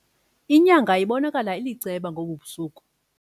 Inyanga ibonakala iliceba elisisakhombe ngobu busuku.